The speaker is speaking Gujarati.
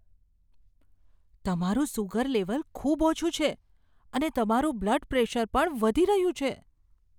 તમારું સુગર લેવલ ખૂબ ઓછું છે, અને તમારું બ્લડ પ્રેશર પણ વધી રહ્યું છે.